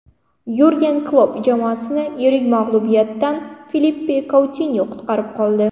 Yurgen Klopp jamoasini yirik mag‘lubiyatdan Filippe Koutinyo qutqarib qoldi.